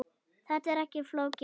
Þetta er ekki flókið.